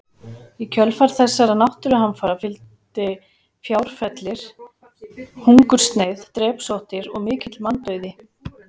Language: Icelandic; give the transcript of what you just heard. Í kjölfar þessara náttúruhamfara fylgdi fjárfellir, hungursneyð, drepsóttir og mikill manndauði.